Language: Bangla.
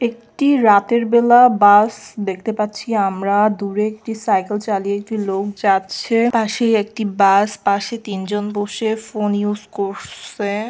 একটি রাতের বেলা বাস দেখতে পাচ্ছি আমরা দূরে একটি সাইকেল চালিয়ে লোক যাচ্ছে পাশেই একটি বাস পাশে তিনজন বসে ফোন ইউজ কর-ছে।